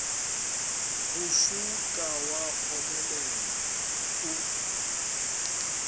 go tšhouka wa omelela o